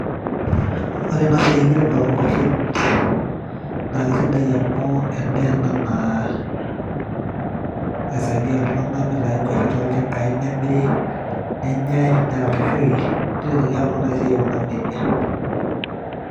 Ore ena siai enkiremore oonkwashen naa kisidai amu en'daa ena naa kisaidia iltunganak mintayu inkwashen tolchambai nemiri ,nenyae ,neraposhoi ,nileleaki iltunganak esiaai aikunaki nejia.